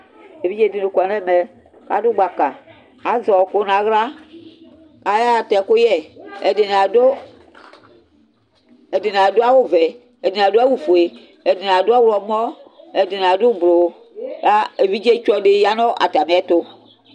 Evidze dini kɔ nʋ ɛmɛ, adʋ gbaka azɛ ɔkʋ nʋ aɣla Ayaxatɛ ɛkʋyɛ, ɛdini adʋ awʋvɛ, ɛdini adʋ awʋfue, ɛdini adʋ ɔwlɔmɔ, ɛdini adʋ ʋblʋ, evidzetsɔdi yanʋ atami ɛtʋ